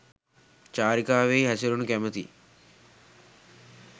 චාරිකාවෙහි හැසිරෙනු කැමැති